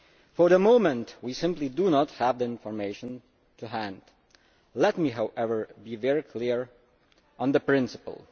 For the moment we do not have the information to hand. Let me, however, be very clear on the principle.